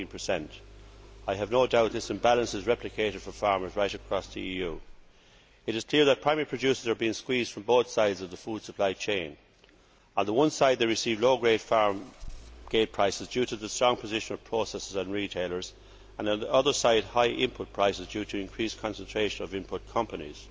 14. I have no doubt that this imbalance is replicated for farmers right across the EU. It is clear that primary producers are being squeezed from both sides of the food supply chain. On the one side they receive low grade farm gate prices due to the strong position of processors and retailers, and on the other side they pay high input prices due to increased concentration of input companies.